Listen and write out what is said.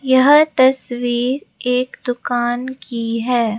यह तस्वीर एक दुकान की है।